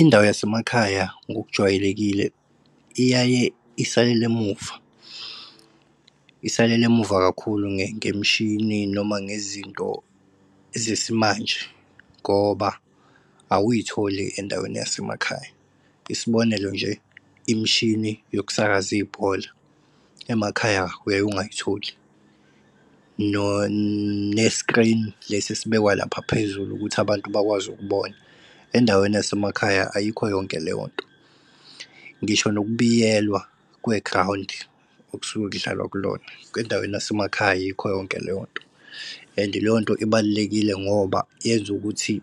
Indawo yasemakhaya ngokujwayelekile iyaye isalele emuva, isalele emuva kakhulu ngemishini, noma ngezinto zesimanje. Ngoba awuyitholi ey'ndaweni yasemakhaya. Isibonelo nje, imishini yokusakaza ibhola, emakhaya uye ungayitholi ne-screen lesi esibekwa lapha phezulu ukuthi abantu bakwazi ukubona, endaweni yasemakhaya ayikho yonke leyo nto. Ngisho nokubiyelwa kwe-ground, okusuke kudlalwa kulona, ngendaweni yasemakhaya ayikho yonke leyo nto. And leyo nto ibalulekile ngoba yenza ukuthi